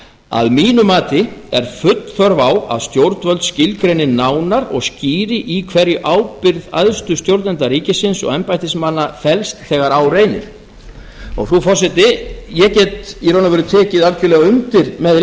að mínu mati er full þörf á að stjórnvöld skilgreini nánar og skýri í hverju ábyrgð æðstu stjórnenda ríkisins og embættismanna felst þegar á reynir frú forseti ég get í raun og veru tekið algerlega undir með